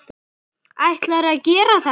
Ætlarðu að gera þetta?